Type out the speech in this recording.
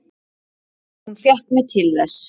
Hún fékk mig til þess!